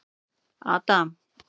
Adam